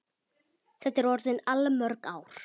Þetta eru orðin allmörg ár.